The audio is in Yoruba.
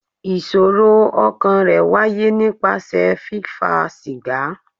Ìṣòro ọkàn rẹ̀ wáyé nípasẹ̀ fífa sìgá.